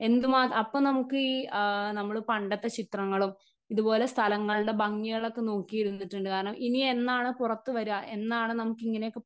Speaker 1 എന്തുമാ അപ്പം നമുക്ക് ഈ ആ നമ്മള് പണ്ടത്തെ ചിത്രങ്ങളും ഇതുപോലെ സ്ഥലങ്ങളുടെ ഭംഗികളൊക്കെ നോക്കിയിരുന്നിട്ടുണ്ട് കാരണം ഇനിയെന്നാണ് പുറത്തുവരുക എന്നാണ് നമുക്കിങ്ങനെയൊക്കെ.